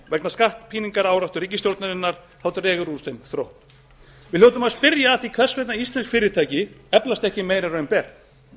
vegna skattpíningaráráttu ríkisstjórnarinnar dregur úr þeim þrótti við hljótum að spyrja að því hvers vegna íslensk fyrirtæki eflast ekki meira en raun ber